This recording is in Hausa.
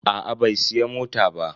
Aa bai siya mota ba.